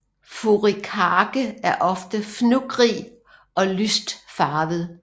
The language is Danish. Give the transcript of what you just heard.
Furikake er ofte fnuggig og lyst farvet